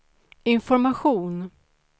information